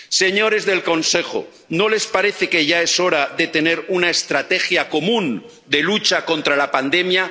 Señores del Consejo, ¿no les parece que ya es hora de tener una estrategia común de lucha contra la pandemia?